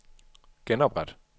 genopret